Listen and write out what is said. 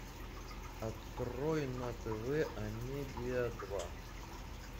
открой на тв амедиа два